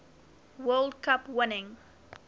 world cup winning